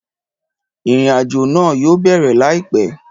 Ìrìnàjò náà yóò bẹ̀rẹ̀ láìpẹ́